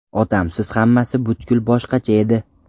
Otamsiz hammasi butkul boshqacha edi.